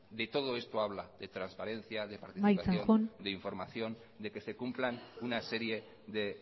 de todo esto habla de transparencia de participación de información de que se cumplan una serie de